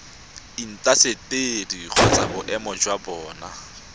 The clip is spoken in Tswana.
intaseteri kgotsa boemedi jwa bona